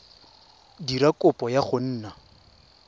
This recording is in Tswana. dira kopo ya go nna